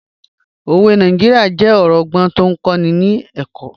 Òwe Nàìjíríà jẹ́ ọ̀rọ̀ ọgbọ́n tó ń kọ́ni lẹ́kọ̀ọ́